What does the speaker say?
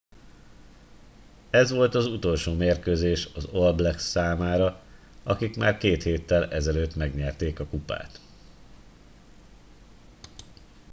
ez volt az utolsó mérkőzés az all blacks számára akik már két héttel ezelőtt megnyerték a kupát